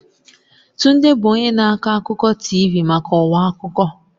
Tunde bụ onye na-akọ akụkọ TV maka ọwa akụkọ.